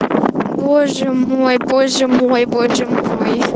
боже мой боже мой боже мой